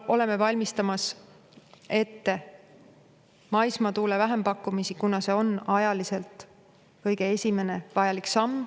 Oleme ette valmistamas maismaa tuule vähempakkumisi, kuna see on ajaliselt kõige esimene vajalik samm.